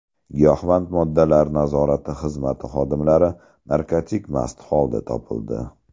Giyohvand moddalar nazorati xizmati xodimlari narkotik mast holda topildi.